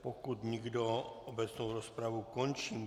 Pokud nikdo, obecnou rozpravu končím.